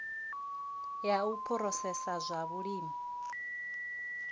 ya u phurosesa zwa vhulimi